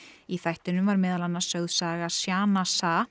í þættinum var meðal annars annars sögð saga Sana